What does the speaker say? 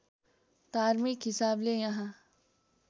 धार्मिक हिसाबले यहाँ